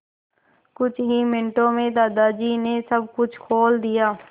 कुछ ही मिनटों में दादाजी ने सब कुछ खोल दिया